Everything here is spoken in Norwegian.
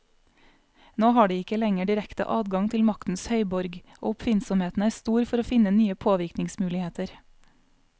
Nå har de ikke lenger direkte adgang til maktens høyborg, og oppfinnsomheten er stor for å finne nye påvirkningsmuligheter.